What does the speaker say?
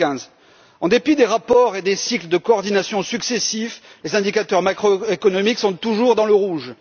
2015. En dépit des rapports et des cycles de coordination successifs, les indicateurs macroéconomiques sont toujours dans le rouge.